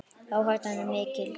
Áhættan er mikil.